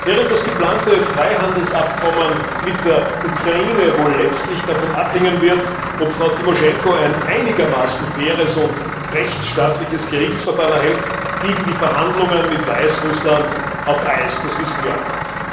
Während das geplante Freihandelsabkommen mit der Ukraine wohl letztlich davon abhängen wird, ob Frau Timoschenko ein einigermaßen faires und rechtstaatliches Gerichtsverfahren erhält, liegen die Verhandlungen mit Weißrussland auf Eis. Das wissen wir auch.